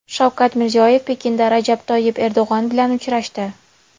Shavkat Mirziyoyev Pekinda Rajab Toyyib Erdo‘g‘on bilan uchrashdi.